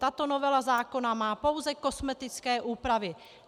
Tato novela zákona má pouze kosmetické úpravy.